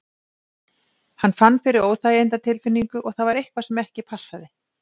Hann fann fyrir óþægindatilfinningu og það var eitthvað sem ekki passaði.